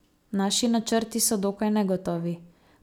Naši načrti so dokaj negotovi.